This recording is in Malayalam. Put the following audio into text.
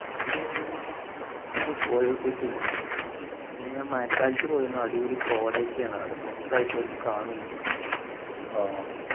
ഏർ morning പോയോക്കിട്ടില്ല പിന്നെ മഴക്കാലത്ത് പോയിരുന്നു അടിപൊളി കൊടയൊക്കെയാണ് അവിടെ മൊത്തം ആയിട്ട് ഒന്നും കാണു ഒന്നും ഇല്ല